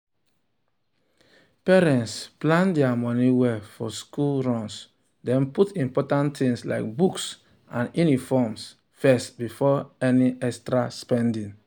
parents plan their money well for school runs put important things like books and uniforms first before any extra spending.